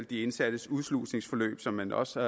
de indsattes udslusningsforløb som man også